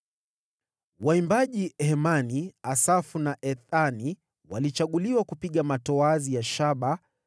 Waimbaji Hemani, Asafu na Ethani walichaguliwa kupiga matoazi ya shaba;